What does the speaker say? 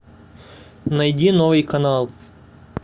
найди новый канал